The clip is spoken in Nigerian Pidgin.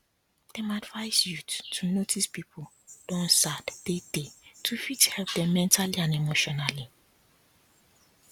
dem advice youth to notice people don sad tey tey to fit help dem mentally and emotionally